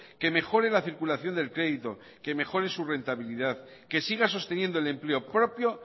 que mejore la circulación del crédito que mejore su rentabilidad que siga sosteniendo el empleo propio